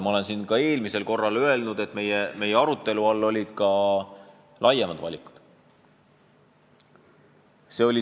Ma ütlesin siin ka eelmisel korral, et meie arutelu all olid ka laiemad valikud.